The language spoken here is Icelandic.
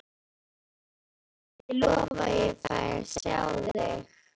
Guði sé lof ég fæ að sjá þig.